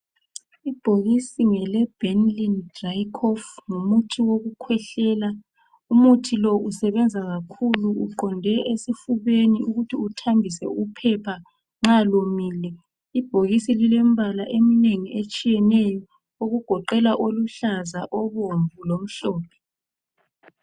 Ibhokisi ngele Benylin dry cough. Ngumuthi wokukhwehlela. Umuthi lo usebenza kakhulu uqonde esifubeni ukuthi uthambise uphepha nxa lomile. Ibhokisi lilembala eminengi etshiyeneyo okugoqela oluhlaza, obomvu lomhlophe .